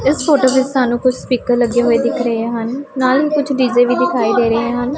ਇਸ ਫ਼ੋਟੋ ਵਿੱਚ ਸਾਨੂੰ ਕੁੱਛ ਸਪੀਕਰ ਲੱਗੇ ਹੋਏ ਦਿੱਖ ਰਹੇ ਹਨ ਨਾਲ ਹੀ ਕੁੱਛ ਡੀ_ਜ਼ੇ ਵੀ ਦਿਖਾਈ ਦੇ ਰਹੇ ਹਨ।